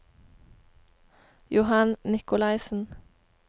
Johan Nicolaysen